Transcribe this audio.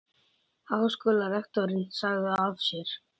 Háskólarektorinn sagði af sér